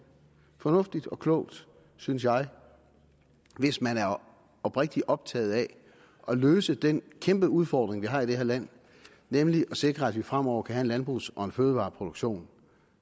fornuftigt og klogt synes jeg hvis man er oprigtig optaget af at løse den kæmpeudfordring vi har i det her land nemlig at sikre at vi fremover kan have en landbrugs og fødevareproduktion